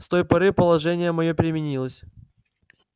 с той поры положение моё переменилось